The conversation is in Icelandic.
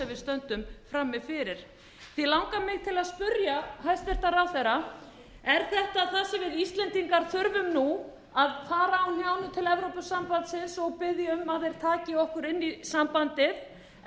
stöndum frammi fyrir því langar mig til að spyrja hæstvirtan ráðherra er þetta það sem við íslendingar þurfum nú að fara á hnjánum til evrópusambandsins og biðja um að þeir taki okkur inn í sambandið er rétt